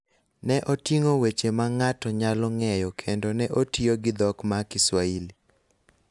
ne oting�o weche ma ng�ato nyalo ng�eyo kendo ne otiyo gi dhok ma Kiswahili.